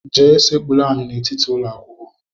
Jee sekpuru ala n'etiti ụlọakwụkwọ!